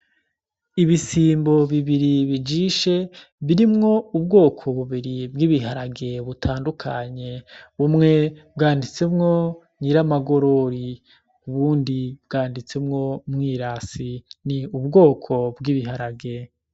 Ibisimbo bibiri bijishe birimwo ubwoko bubiri bw'ibiharage butandukanye ,bumwe bwanditsemwo, nyiramagorori, ubundi bwanditsemwo, mwirasi ni ubwoko bw'ibiharage.